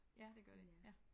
Ja det gør de ja